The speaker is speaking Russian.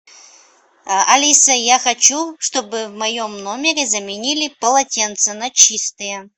а алиса я хочу чтобы в моем номере заменили полотенца на чистые